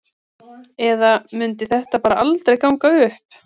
Eða mundi þetta bara aldrei ganga upp?